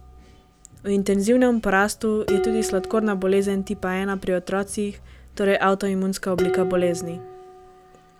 V intenzivnem porastu je tudi sladkorna bolezen tipa ena pri otrocih, torej avtoimunska oblika bolezni.